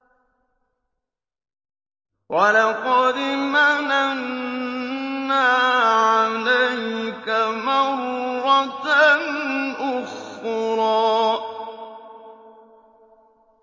وَلَقَدْ مَنَنَّا عَلَيْكَ مَرَّةً أُخْرَىٰ